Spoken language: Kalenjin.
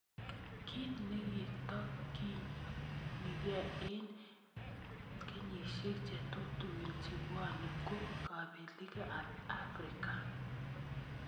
Ki nekitokyinike eng kenyisiek chetutugin chebwone ko kapelik ab Africa